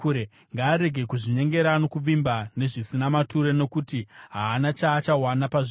Ngaarege kuzvinyengera nokuvimba nezvisina maturo, nokuti haana chaachawana pazviri.